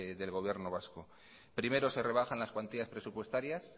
del gobierno vasco primero se rebajan las cuantías presupuestarias